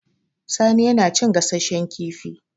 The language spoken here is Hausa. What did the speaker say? Sani yana cin gasasshen kifi